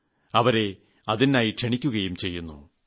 ഞാൻ അവരെ അതിനായി ക്ഷണിക്കുകയും ചെയ്യുന്നു